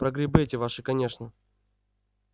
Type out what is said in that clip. про грибы эти ваши конечно